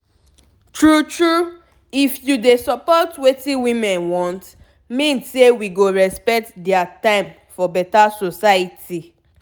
tru tru if you dey support wetin women want mean say we go respect dia tim for beta soceity